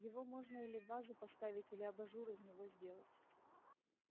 его можно или в вазу поставить или абажур из него сделать